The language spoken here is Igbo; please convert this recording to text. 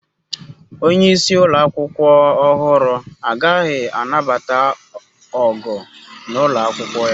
Onye isi ụlọ akwụkwọ ọhụrụ agaghị anabata ọgụ n'ụlọ akwụkwọ ya.